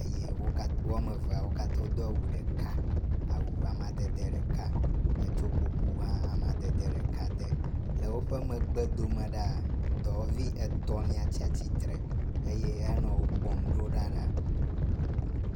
Eye wo katã, woame eveawo katã wodo awu ɖeka, awu amadede ɖeka. Etsɔ kuku hã amadede ɖeka de. Le woƒe megbe dome ɖaa, dɔwɔvi etɔ̃lia tsatsitre eye hele wo kpɔm ɖo ɖa ɖaa.